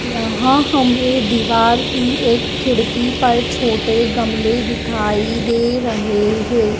यहां हमें दीवार की एक खिड़की पर छोटे गमले दिखाई दे रहे हैं।